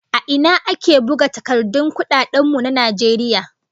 A ina ake buga takardun kudaden mu na Najeriya?